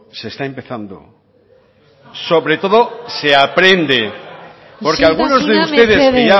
está empezando sobre todo se aprende algarak isiltsuna mesedez porque algunos de ustedes que ya